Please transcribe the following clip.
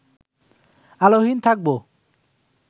আলোহীন থাকব